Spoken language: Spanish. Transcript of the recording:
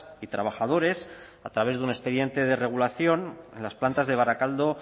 y trabajadores a través de un expediente de regulación en las plantas de barakaldo